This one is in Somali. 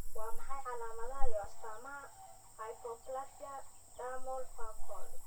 Waa maxay calaamadaha iyo astaamaha hypoplasia dermal Focal?